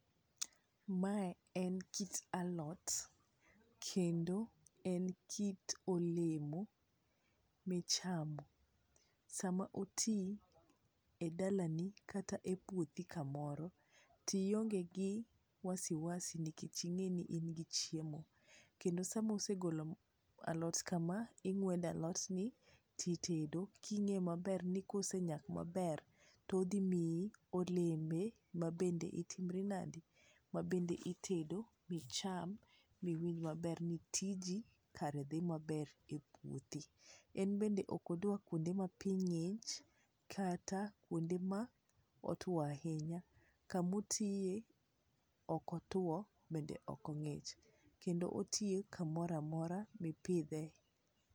Mae en kit alot, kendo en kit olemo michamo. Sama otii e dalani kata e puothi kamoro to ionge gi wasiwasi nikech ing'eni in gi chiemo. Kendo sama osegolo alot kama , ing'wedo alotni titedo king'e maber ni kosenyak maber, to odhi miyi olembe mabende itimri nade, mabende itedo , icham miwinj maber ni tiji kare dhi maber e puothi. En bende ok odwa kuonde ma pii ng'ich, kata kuonde ma otwo ahinya. Kama otiye ok otwo bende ok ng'ich. Kendo otii kamoro amora ma ipidhe.